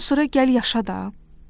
Bundan sonra gəl yaşa da.